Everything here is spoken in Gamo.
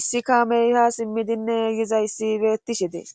issi kaameyha simmidinne yizayssi beettishe dees.